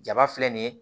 Jaba filɛ nin ye